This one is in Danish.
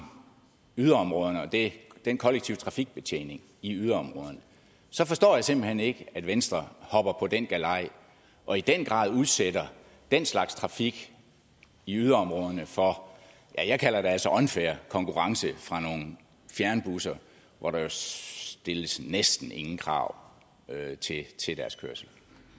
yderområderne og den kollektive trafikbetjening i yderområderne så forstår jeg simpelt hen ikke at venstre hopper på den galej og i den grad udsætter den slags trafik i yderområderne for ja jeg kalder det altså unfair konkurrence fra nogle fjernbusser hvor der stilles næsten ingen krav til deres kørsel